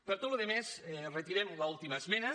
per tota la resta retirem l’última esmena